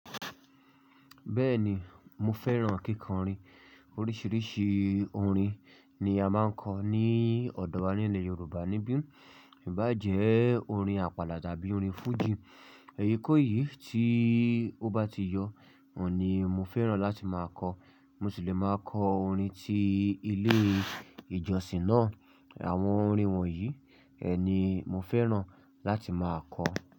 Bẹ́ẹ̀ni, mo fẹ́ràn kíkọ orin. Oríṣiríṣi orin ni a máa ń kọ ní ọ̀dọ̀ wa nile Yorùbá níbí. Ìbá jẹ́ orin àpàlà tàbí orin fújì. Ẹyíkò yìí tí ó bá ti yọ, òun ni mo fẹ́ràn láti máa kọ. Mo sì le máa kọ orin ti ilé ìjọsìn náà. Àwọn orin wọ̀nyí, ẹ ni mo fẹ́ràn láti máa kọ.